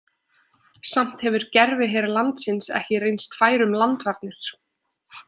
Samt hefur gerviher landsins ekki reynst fær um landvarnir.